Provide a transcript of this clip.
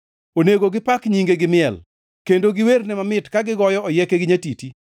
Onego gi pak nyinge gi miel kendo giwerne mamit ka gigoyo oyieke gi nyatiti.